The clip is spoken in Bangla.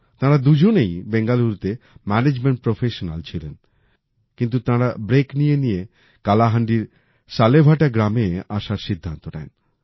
তারা দুজনেই বেঙ্গালুরুতে ম্যানেজমেন্ট প্রফেশনাল ছিলেন কিন্তু তাঁরা ব্রেক নিয়ে নিয়ে কালাহান্ডির সালেভাটা গ্রামে আসার সিদ্ধান্ত নেন